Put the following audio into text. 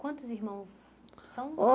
Quantos irmãos são?